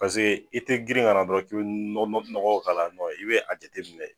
paseke i te girin ka na dɔrɔn k'i be nɔgɔ nɔgɔ k'ala nɔn i be a jateminɛ